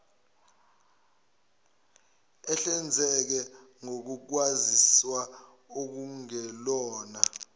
ehlinzeke ngokwaziswa okungelona